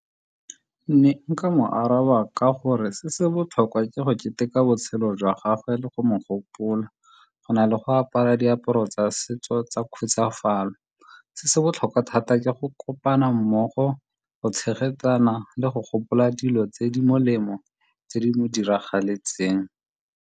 Ne nka mo araba ka gore se se botlhokwa ke go keteka botshelo jwa gagwe le go mo gopola, go na le go apara diaparo tsa setso tsa khutsafalo. Se se botlhokwa thata ke go kopana mmogo, go tshegetsana le go gopola dilo tse di molemo tse di mo diragaletseng.